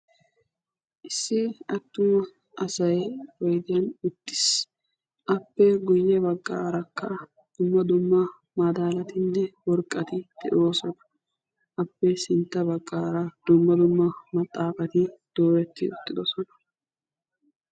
Issi atuma asay zin'i uttiis appe guye bagan dumma dumma zin'i uttiddi beetees.